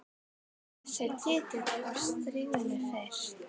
Þessi titill var stríðni fyrst.